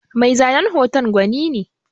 Mai zanen hoton gwani ne.